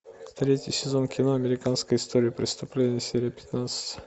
третий сезон кино американская история преступлений серия пятнадцать